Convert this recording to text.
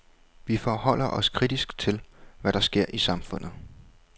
Vi forholder os kritisk til, hvad der sker i samfundet.